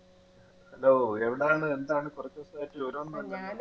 hello എവിടാണ് എന്താണ് കൊറച്ചു ദിവസായിട്ട് വിവരൊന്നും ഇല്ലല്ലോ